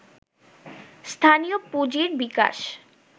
স্থানীয় পুঁজির বিকাশ